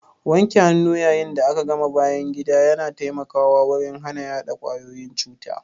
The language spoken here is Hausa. Wanke hannu yayin da aka gama bayan gida ya na taimakawa wurin hana yaɗa kwayoyin cuta.